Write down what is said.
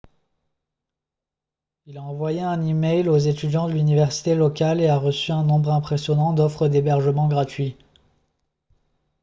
il a envoyé un e-mail aux étudiants de l'université locale et a reçu un nombre impressionnant d'offres d'hébergement gratuit